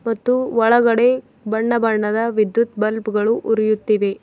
ಮತ್ತು ಒಳಗಡೆ ಬಣ್ಣಬಣ್ಣದ ವಿದ್ಯುತ್ ಬಲ್ಪ್ ಗಳು ಉರಿಯುತ್ತಿವೆ.